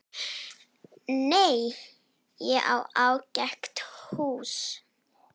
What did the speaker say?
Nei, ég á ágætis hús.